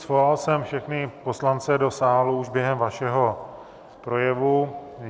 Svolal jsem všechny poslance do sálu už během vašeho projevu.